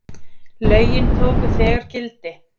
lögin tóku þegar gildi